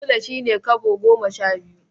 Sule shi ne Kobo goma sha biyu.